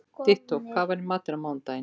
Dittó, hvað er í matinn á mánudaginn?